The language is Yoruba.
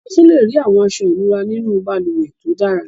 A tún lè rí àwọn aṣọ ìnura nínú balùwẹ̀ tó dára.